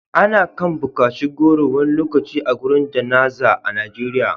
ana kan bukaci goro wani lokaci a gurin Jana'za a Najeriya